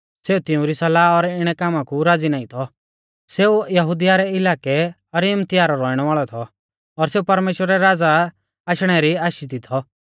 सेऊ तिउंरी सलाह और इणै कामा कु राज़ी नाईं थौ सेऊ यहुदिया रै इलाकै अरिमतिया रौ रौइणै वाल़ौ थौ और सेऊ परमेश्‍वरा रै राज़ा आशणै री आशी दी थौ